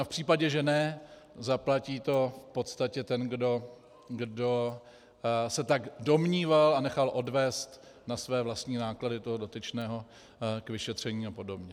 A v případě, že ne, zaplatí to v podstatě ten, kdo se tak domníval a nechal odvést na své vlastní náklady toho dotyčného k vyšetření a podobně.